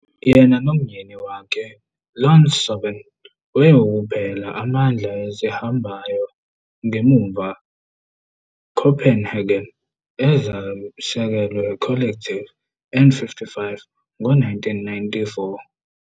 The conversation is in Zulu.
Yena nomyeni wakhe Ion Sorvin wayewukuphela amandla ezihambayo ngemuva Copenhagen ezisekelwe collective N55 ngo-1994.